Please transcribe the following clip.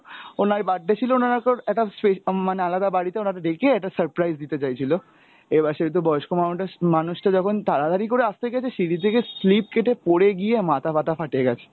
ওনার birthday ছিল উনার একটা স্পেস~ উম মানে আলাদা বাড়িতে উনাকে ডেকে একটা surprise দিতে চাইছিল, এবার সেহেতু বয়স্ক মানুষটা যখন তাড়াতাড়ি করে আসতে গেছে সিঁড়ি থেকে slip কেটে পড়ে গিয়ে মাথা ফাতা ফাটে গেছে,